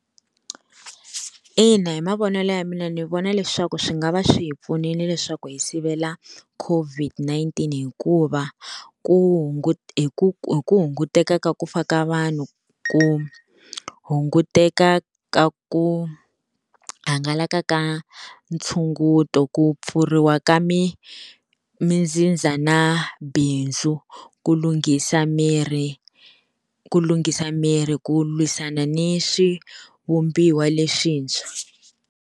Ina hi mavonelo ya mina ni vona leswaku swi nga va swi hi pfunile leswaku hi sivela COVID-19, hikuva ku hi ku hunguteka ka ku fa ka vanhu, ku hunguteka ka ku hangalaka ka ntshunguto, ku pfuriwa ka mi mitsindza na bindzu, ku lunghisa miri ku lunghisa miri ku lwisana ni swivumbiwa leswintshwa.